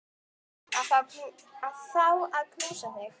Að fá að knúsa þig.